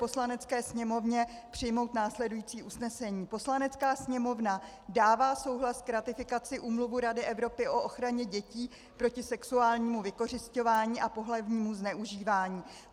Poslanecké sněmovně přijmout následující usnesení: Poslanecká sněmovna dává souhlas k ratifikaci Úmluvy Rady Evropy o ochraně dětí proti sexuálnímu vykořisťování a pohlavnímu zneužívání.